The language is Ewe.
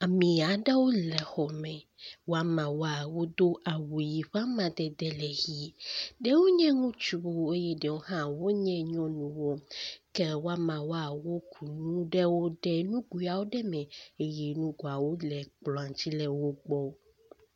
Ame aɖewo le xɔ me. Woama woa wodo awu yi ƒe amadede le ʋie. Ɖewo nye ŋutsuwo eye ɖewo hã wonye nyɔnuwo ke wo ameawo wo ku nu ɖe nuguio aɖe me eye nuguiawo le kplɔ di le wo gbɔ.